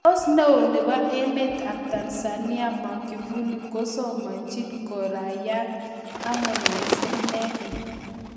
Tos neo nebo emet ap Tanzania magufuli kosamchin kuraiyat harmonize inendet?